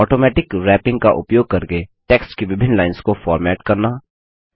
automatic wrapping का उपयोग करके टेक्स्ट की विभिन्न लाइन्स को फॉर्मेट करना